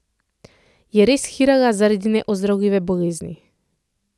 Je res hirala zaradi neozdravljive bolezni?